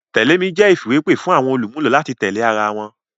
Tẹ̀lé mi jẹ́ ìfìwépè fún àwọn olùmúlò láti tẹ̀lé ara wọn